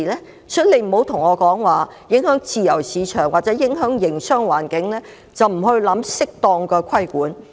因此，司長不要對我說，因為會影響自由市場或營商環境，便不去考慮施加適當的規管。